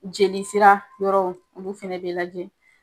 Jelisera yɔrɔw olu fana bɛ lajɛ.